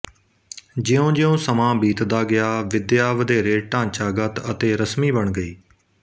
ਜਿਉਂਜਿਉਂ ਸਮਾਂ ਬੀਤਦਾ ਗਿਆ ਵਿੱਦਿਆ ਵਧੇਰੇ ਢਾਂਚਾਗਤ ਅਤੇ ਰਸਮੀ ਬਣ ਗਈ